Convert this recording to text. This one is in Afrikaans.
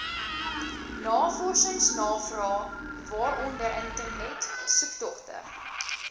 navorsingsnavrae waaronder internetsoektogte